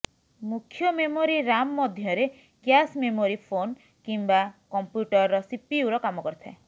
ମୁଖ୍ୟ memory RAM ମଧ୍ୟରେ cache memory phone କିମ୍ବା କମ୍ପ୍ୟୁଟରର ସିପିୟୁର କାମ କରିଥାଏ